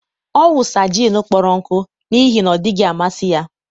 ọ wụsa gin kpọrọ nkụ n'ihi na ọ dịghị amasị ya